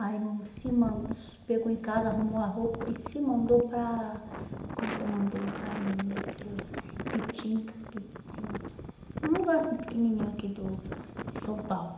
Aí se man se pegou em casa, arrumou a roupa e se mandou para, como que é o nome do lugar, meu Deus, é Pitinga, um lugar assim pequenininho aqui do de São Paulo.